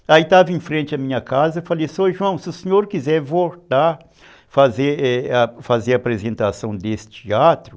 Aí estava em frente à minha casa, falei, senhor João, se o senhor quiser voltar a a fazer a apresentação desse teatro,